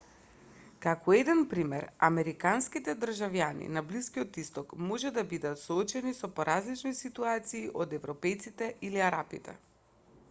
како еден пример американските државјани на блискиот исток може да бидат соочени со поразлични ситуации од европејците или арапите